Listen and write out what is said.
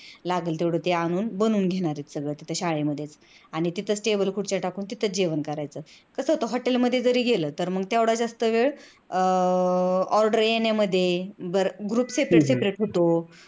लागल तेवढ ते आणून बनवून घेणार आहेत तिथं शाळेमध्येचआणि तिथेच table खुर्च्या आणून तिथेच जेवण करायचं कस होत hotel मध्ये जरी गेल तेवढा जास्त वेळ अह order येण्यामध्ये बर group separate separate होतो